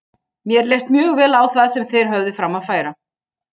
Mér leist mjög vel á það sem þeir höfðu fram að færa.